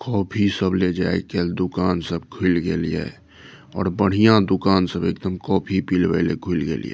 Coffee सब ले जाय केल दुकान सब खुल गेलिये और बढ़िया दुकान सब एकदम कोफी पिलवेल खुल गेलिये।